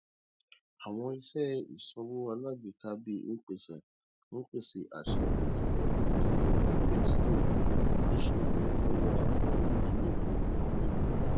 àwọn iṣẹ ìsanwó alágbèéká bíi mpesa ń pèsè àṣàyàn tó rọrùn dípò fífiṣètò níṣòwò lọwọ àwọn iléifowopamọ ìbílẹ